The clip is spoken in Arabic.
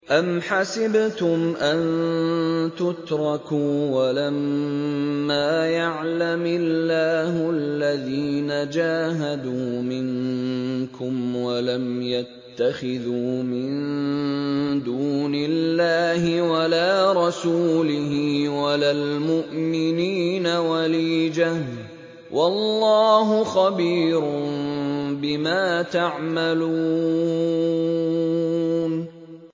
أَمْ حَسِبْتُمْ أَن تُتْرَكُوا وَلَمَّا يَعْلَمِ اللَّهُ الَّذِينَ جَاهَدُوا مِنكُمْ وَلَمْ يَتَّخِذُوا مِن دُونِ اللَّهِ وَلَا رَسُولِهِ وَلَا الْمُؤْمِنِينَ وَلِيجَةً ۚ وَاللَّهُ خَبِيرٌ بِمَا تَعْمَلُونَ